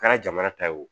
Kɛra jamana ta ye o